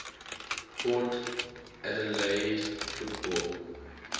port adelaide football